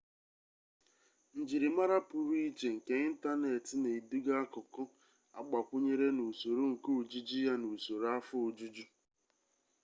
njirimara pụrụ iche nke ịntaneetị na-eduga akụkụ agbakwụnyere n'usoro nke ojiji ya na usoro afọ ojuju